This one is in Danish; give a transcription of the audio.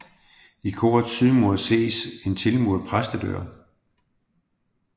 I korets sydmur ses en tilmuret præstedør